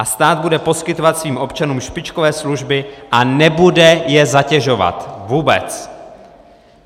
A stát bude poskytovat svých občanům špičkové služby a nebude je zatěžovat, vůbec.